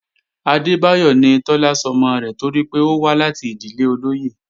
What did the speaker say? Adébáyọ̀ ni Tọ́lá sọmọ rẹ̀ torí pé ó wá láti ìdílé olóyè